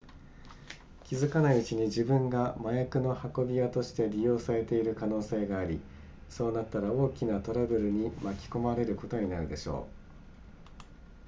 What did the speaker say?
気付かないうちに自分が麻薬の運び屋として利用されている可能性がありそうなったら大きなトラブルに巻き込まれることになるでしょう